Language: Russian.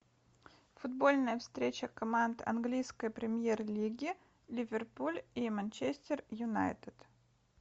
футбольная встреча команд английской премьер лиги ливерпуль и манчестер юнайтед